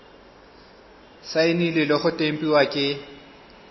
saenilwe le go tempiwa ke